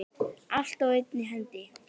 Allt á einni hendi.